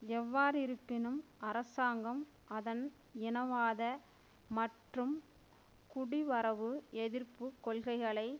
எவ்வாறிருப்பினும் அரசாங்கம் அதன் இனவாத மற்றும் குடிவரவு எதிர்ப்பு கொள்கைகளை